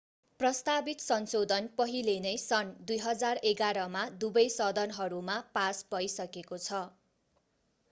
प्रस्तावित संशोधन पहिले नै सन् 2011 मा दुवै सदनहरूमा पास भइसकेको छ